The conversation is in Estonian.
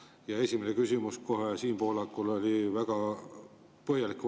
Ja esimene vastus Siim Pohlakule oli ka väga põhjalik.